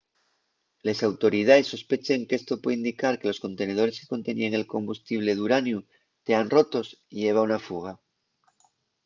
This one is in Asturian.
les autoridaes sospechen qu’esto puede indicar que los contenedores que conteníen el combustible d’uraniu tean rotos y heba una fuga